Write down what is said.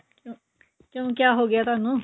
ਕਿਉਂ ਕਿਆ ਹੋ ਗਿਆ ਤੁਹਾਨੂੰ